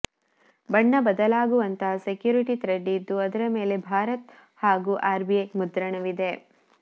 ಬಣ್ಣ ಬದಲಾಗುವಂತಹ security thread ಇದ್ದು ಅದರ ಮೇಲೆ ಭಾರತ್ ಹಾಗೂ ಆರ್ಬಿಐ ಮುದ್ರಣವಿದೆ